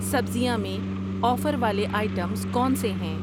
سبزیاں میں آفر والے آئٹمز کون سے ہیں؟